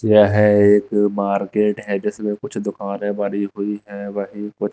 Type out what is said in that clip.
यह एक मार्केट है जिसमें कुछ दुकानें बनी हुई हैं वहीं कुछ--